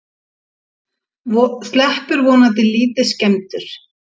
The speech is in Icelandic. Sleppur vonandi lítið skemmdur